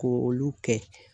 Ko olu kɛ.